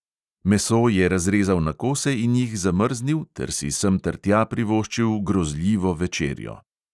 Meso je razrezal na kose in jih zamrznil ter si semtertja privoščil grozljivo večerjo.